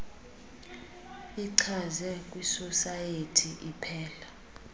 ichaze kwisosayethi iphela